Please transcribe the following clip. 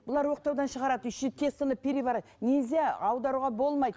бұлар оқтаудан шығарады еще тестаны нельзя аударуға болмайды